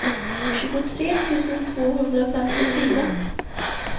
tjugotre tusen tvåhundrafemtiofyra